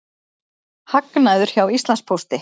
Hagnaður hjá Íslandspósti